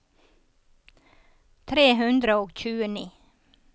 tre hundre og tjueni